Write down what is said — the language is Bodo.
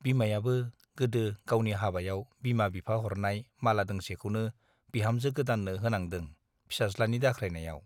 बिमायाबो गोदो गावनि हाबायाव बिमा - बिफा हरनाय माला दांसेखौनो बिहामजों गोदाननो होनांदों फिसाज्लानि दाख्रायनायाव ।